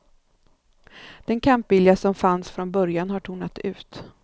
Den kampvilja som fanns från början har tonat ut.